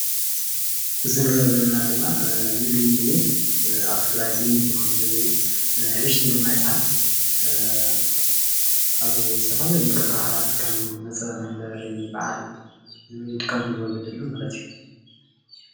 እዚ ንሪኦ ዘለና ድማ ምግቢ እዩ ኣብ ትግራይ ልሙድ ዝኮነ ምግቢ ሕብሽቲ ድማ ይበሃል ኣብ ዝተፈላለዩ ክብረ በዓላት ከም መፅንበሪ በዓል ይጥቀምሉ ወለድና ማለት እዩ።